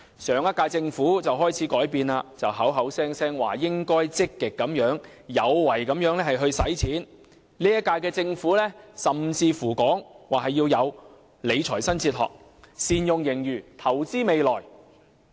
上屆政府開始改變，動輒說應該積極有為的用錢；本屆政府甚至說要有理財新哲學，善用盈餘，投資未來。